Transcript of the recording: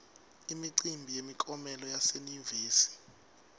imicimbi yemiklomelo yase yunivesi